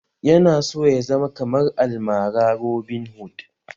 Yana so ya zama kamar almara robinhood